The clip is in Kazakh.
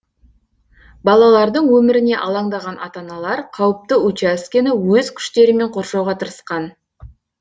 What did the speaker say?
балалардың өміріне алаңдаған ата аналар қауіпті учаскені өз күштерімен қоршауға тырысқан